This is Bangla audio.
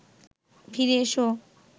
ফিরে এসো